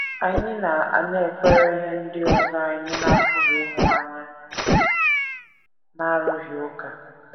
Anyị na - anakwere ihe ndị ọzọ anyị na - apụghị ịhụ anya n’arụghị ụka.